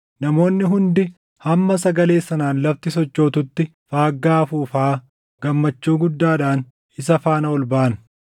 Namoonni hundi hamma sagalee sanaan lafti sochootutti faaggaa afuufaa gammachuu guddaadhaan isa faana ol baʼan.